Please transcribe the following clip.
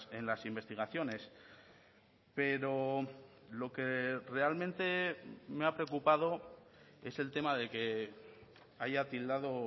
en las investigaciones pero lo que realmente me ha preocupado es el tema de que haya tildado